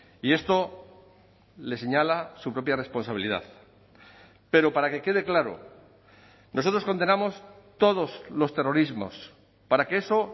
y esto les señala su propia responsabilidad pero para que quede claro nosotros condenamos todos los terrorismos para que eso